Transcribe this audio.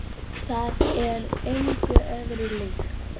Það er engu öðru líkt.